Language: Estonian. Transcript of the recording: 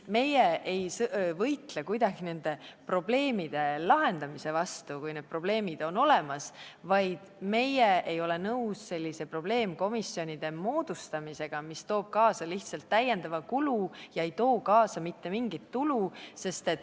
Me ei võitle kuidagi probleemide lahendamise vastu, kui need probleemid on olemas, aga me ei ole nõus selliste probleemkomisjonide moodustamisega, mis toovad kaasa lihtsalt lisakulu, aga mitte mingit tulu.